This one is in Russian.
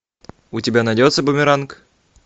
у тебя найдется бумеранг